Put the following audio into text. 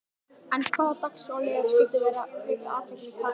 En hvaða dagskrárliðir skyldu vekja athygli Katrínar?